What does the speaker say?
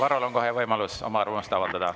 Varrol on kohe võimalus oma arvamust avaldada.